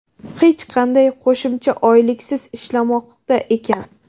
hech qanday qo‘shimcha oyliksiz ishlashmoqda ekan.